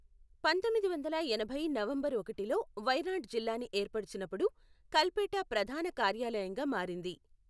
పంతొమ్మిది వందల ఎనభై నవంబర్ ఒకటిలో వయనాడ్ జిల్లాని ఏర్పచినప్పుడు, కల్పేట ప్రధాన కార్యాలయంగా మారింది.